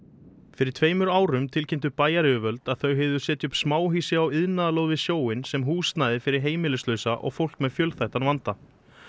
fyrir tveimur árum tilkynntu bæjaryfirvöld að þau hygðust setja upp smáhýsi á iðnaðarlóð við sjóinn sem húsnæði fyrir heimilislausa og fólk með fjölþættan vanda